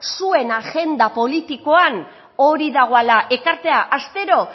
zuen agenda politikoan hori dagoala ekartea astero